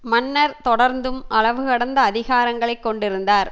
மன்னர் தொடர்ந்தும் அளவு கடந்த அதிகாரங்களை கொண்டிருந்தார்